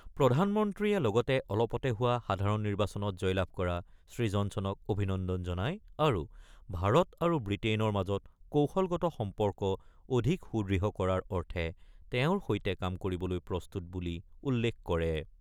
প্ৰধানমন্ত্ৰী লগতে অলপতে হোৱা সাধাৰণ নিৰ্বাচনত জয়লাভ কৰা শ্ৰীজনছনক অভিনন্দন জনায় আৰু ভাৰত আৰু ব্ৰিটেইনৰ মাজৰ কৌশলগত সম্পৰ্ক অধিক সুদৃঢ় কৰাৰ অৰ্থে তেওঁৰ সৈতে কাম কৰিবলৈ প্ৰস্তুত বুলি উল্লেখ কৰে।